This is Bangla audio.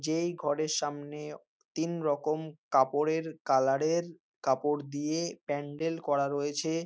যেই ঘরের সামনে তিন রকম কাপড়ের কালার -এর কাপড় দিয়ে প্যান্ডেল করা রয়েছে।